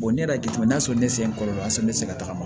ne yɛrɛ jateminɛ n'a sɔrɔ ne se kɔlɔlɔ ne tɛ se ka tagama